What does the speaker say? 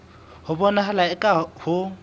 ho bonahala eka ha ho